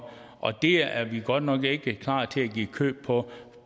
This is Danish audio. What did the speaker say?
og det er vi godt nok ikke klar til at give køb på